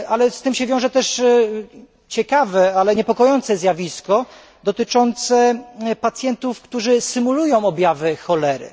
Z tym się wiąże też ciekawe, ale niepokojące zjawisko dotyczące pacjentów, którzy symulują objawy cholery.